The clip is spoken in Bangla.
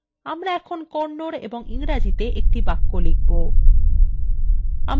আমরা এখন kannada এবং ইংরেজিতে একটি বাক্য লিখবো